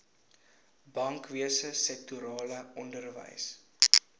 bankwese sektorale onderwys